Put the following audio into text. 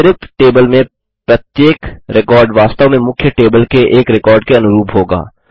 अतरिक्त टेबल में प्रत्येक रिकॉर्ड वास्तव में मुख्य टेबल के एक रिकॉर्ड के अनुरूप होगा